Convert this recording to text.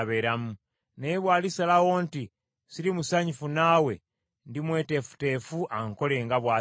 Naye bw’alisalawo nti, ‘Ssiri musanyufu naawe,’ ndimweteefuteefu ankole nga bw’asiima.”